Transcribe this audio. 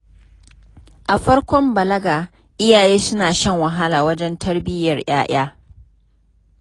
A farkon balaga, iyaye suna shan wahala wajen tarbiyyar 'ya'ya.